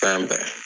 Fɛn bɛɛ